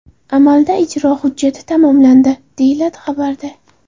Amalda ijro hujjati tamomlandi, deyilgan xabarda.